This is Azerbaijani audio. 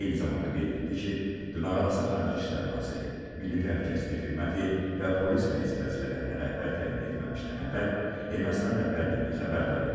Eyni zamanda qeyd etdi ki, dırnaqarası Xarici İşlər naziri, Milli Təhlükəsizlik xidməti və polis rəisi vəzifələrinə rəhbər təyin etməmişdən əvvəl Ermənistan rəhbərliyini xəbərdar edib.